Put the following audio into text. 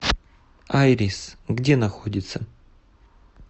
айрис где находится